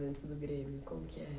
antes do Grêmio? Como que é?